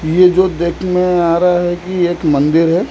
ये जो देख में आ रहा है कि एक मंदिर है।